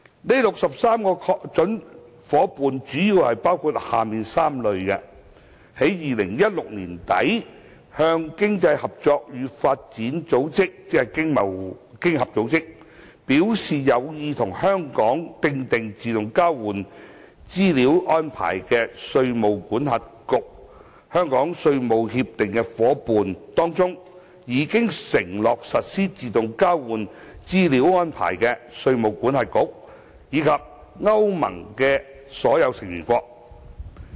該63個準夥伴主要包括下列3類：在2016年年底向經濟合作與發展組織表示有意與香港訂定自動交換資料安排的稅務管轄區、香港稅務協定夥伴當中已承諾實施自動交換資料安排的稅務管轄區，以及歐盟的所有成員國。